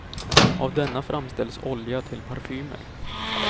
Av denna framställs olja till parfymer.